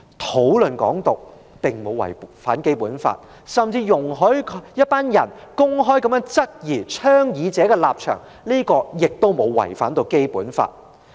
討論"港獨"並沒有違反《基本法》，容許一些人公開質疑倡議者的立場，也沒有違反《基本法》。